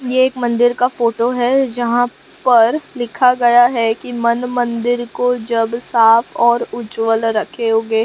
ये एक मंदिर का फोटो है जहां पर लिखा गया है कि मन मंदिर को जब साफ और उज्जवल रखोगे।